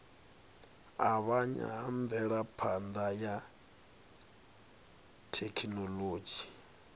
avhanya ha mvelaphana ya thekhinolodzhi